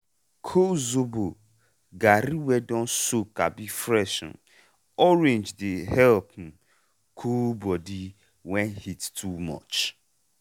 col zobo garri wey don soak abi fresh um orange dey help um cool body when heat too much.